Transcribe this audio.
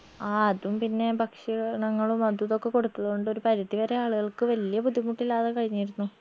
ആ അതും പിന്നെ ഭക്ഷണങ്ങളും അതു ഇതു ഒക്കെ കൊടുത്തതോണ്ട് ഒരു പരിധി വെരേ ആളുകൾക്ക് വെല്യ ബുദ്ധിമുട്ടില്ലാതെ കഴിഞ്ഞേർന്നു